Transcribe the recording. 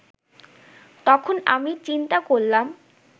তখন আমি চিন্তা করলাম